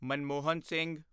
Manmohan Singh